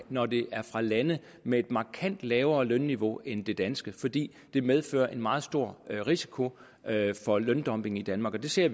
når det er fra lande med et markant lavere lønniveau end det danske fordi det medfører en meget stor risiko for løndumping i danmark vi ser